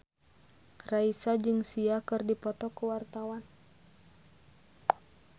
Raisa jeung Sia keur dipoto ku wartawan